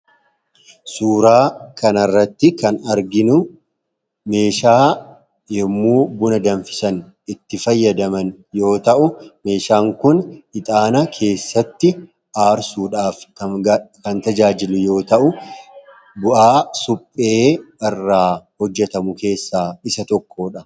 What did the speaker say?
suuraa kanarratti kan arginu meeshaa yommuu buna danfisan itti fayyadaman yoo ta'u meeshaan kun ixaana keessatti aarsuudhaaf kan tajaajilu yoo ta'u bu'aa suphee irraa hojjetamu keessaa isa tokkoodha